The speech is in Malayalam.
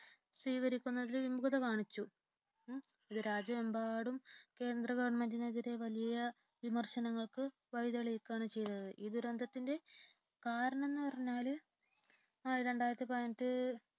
സ്വീകരിക്കുന്നതിൽ വിമുഖത കാണിച്ചു രാജ്യമെമ്പാടും കേന്ദ്ര ഗവണ്മെന്റിനെതിരെ വലിയ വിമർശനങ്ങൾക്കു വഴിതെളിയിക്കുകയാണ് ചെയ്തത് ഈ ദുരന്തത്തിന്റെ കാരണം എന്ന് പറഞ്ഞാല് രണ്ടായിരത്തിപതിനെട്ടിലെ